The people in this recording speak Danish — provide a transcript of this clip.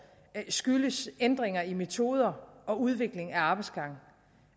skyldes ændringer i metoder og udvikling af arbejdsgange